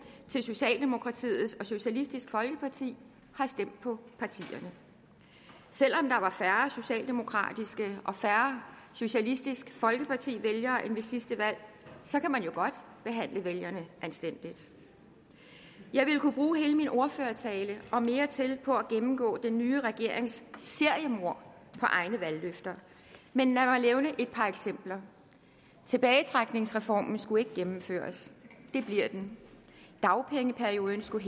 til socialdemokratiet og socialistisk folkeparti har stemt på partierne selv om der var færre socialdemokratiske og færre socialistisk folkeparti vælgere end ved sidste valg kan man jo godt behandle vælgerne anstændigt jeg ville kunne bruge hele min ordførertale og mere til på at gennemgå den nye regerings seriemord på egne valgløfter men lad mig nævne et par eksempler tilbagetrækningsreformen skulle ikke gennemføres det bliver den dagpengeperioden skulle